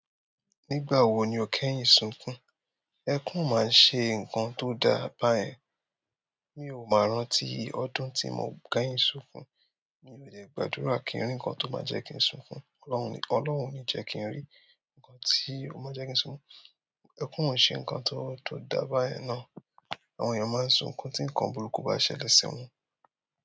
Nígbà wo ni o kẹ́yìn sunkún? Ẹkún o máa ń ṣe nǹkan tó dáa báyẹn. Mi ò ma rántí ọdún tí mo kẹ́yìn sunkún. Mi ò dẹ gbàdúrà kí n rí ǹkan tó máa jẹ́ kí n sunkún. Ọlọ́run ní, Ọlọ́run o ní jẹ́ kí n rí ǹkan tí ó máa jẹ́ kí n sunkún. Ẹkún o ń ṣe ǹkan tó, tó dáa báyẹn ná. Àwọn eyan maa n sunkun ti nkan buruju ba ṣẹlẹ̀ si wọn.